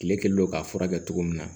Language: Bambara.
Kile kɛlen don k'a furakɛ cogo min na